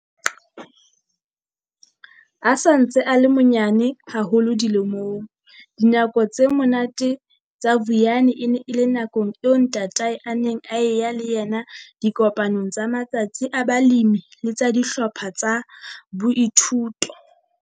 A sa ntse a le monyane haholo dilemong, dinako tse monate tsa Vuyani e ne e le nakong eo ntatae a neng a eya le yena dikopanong tsa matsatsi a balemi le tsa dihlopha tsa boithuto.